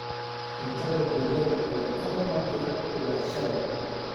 Cuntada digaaga ayaa ka dhammaatay ilaa shalay.